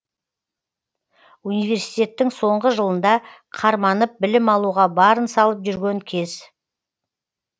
университеттің соңғы жылында қарманып білім алуға барын салып жүрген кез